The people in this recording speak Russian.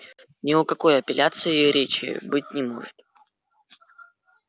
ни о какой апелляции и речи быть не может